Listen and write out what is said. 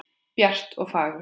Bjart og fagurt.